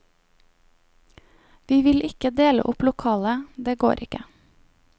Vi vil ikke dele opp lokalet, det går ikke.